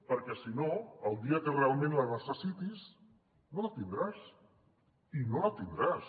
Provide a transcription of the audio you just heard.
perquè si no el dia que realment la necessitis no la tindràs i no la tindràs